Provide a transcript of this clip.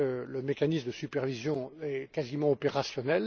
Le mécanisme de supervision est quasiment opérationnel.